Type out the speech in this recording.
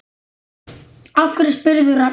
Af hverju spyrðu, Ragnar minn?